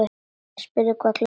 Spurði hvað klukkan væri.